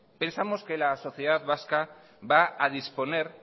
pensamos que la sociedad vasca va a disponer